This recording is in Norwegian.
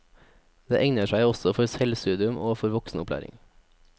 Det egner seg også for selvstudium og for voksenopplæring.